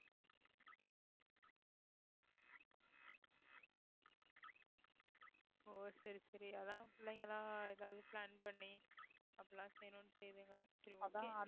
ஓ சரி சரி அதான் பிள்ளைங்க எல்லாம் எதாவது plan பண்ணி அப்படிலாம் செய்யணும்னு செய்யுங்க சரி okay